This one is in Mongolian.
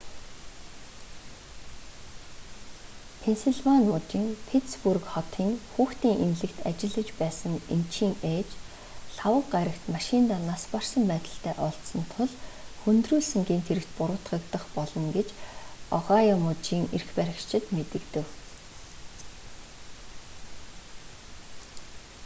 пенсильвани мужийн питтсбург хотын хүүхдийн эмнэлэгт ажиллаж байсан эмчийн ээж лхагва гарагт машиндаа нас барсан байдалтай олдсон тул хүндрүүлсэн гэмт хэрэгт буруутгагдах болно гэж огайо мужийн эрх баригчид мэдэгдэв